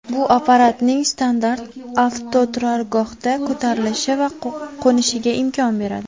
Bu apparatning standart avtoturargohdan ko‘tarilishi va qo‘nishiga imkon beradi.